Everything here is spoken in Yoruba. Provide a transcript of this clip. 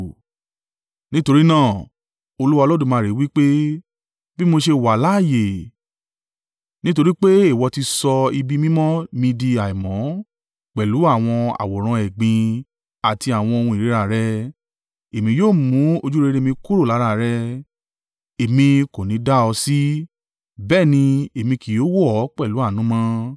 Nítorí náà, Olúwa Olódùmarè wí pé, bí mo ṣe wà láààyè, nítorí pé ìwọ ti sọ ibi mímọ́ mi di àìmọ́ pẹ̀lú àwọn àwòrán ẹ̀gbin àti àwọn ohun ìríra rẹ, èmi yóò mú ojúrere mi kúrò lára rẹ, èmi kò ní í da ọ sí, bẹ́ẹ̀ ni èmi kì yóò wò ọ́ pẹ̀lú àánú mọ́.